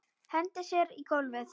Hendir sér á gólfið.